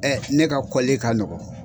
Ɛ ne ka kɔllli ka nɔgɔn.